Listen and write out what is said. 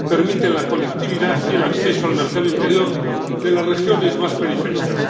permiten la conectividad y el acceso al mercado interior de las regiones más periféricas